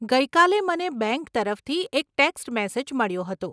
ગઇ કાલે મને બેંક તરફથી એક ટેક્સ્ટ મેસેજ મળ્યો હતો.